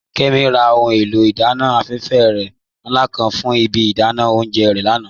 Kẹ́mí rà ọhun è̩lò̩ idànna aláfèfè nla kan fún ìbí idànà ọ̀unjẹ́ re lànà.